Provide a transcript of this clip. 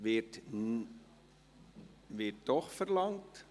Es wird nicht …– Es wird doch verlangt.